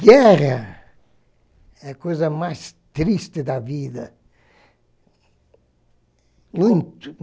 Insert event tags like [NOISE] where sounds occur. Guerra é a coisa mais triste da vida. [UNINTELLIGIBLE]